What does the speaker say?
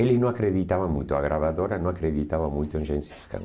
Eles não acreditavam muito, a gravadora não acreditava muito em Gensis Khan.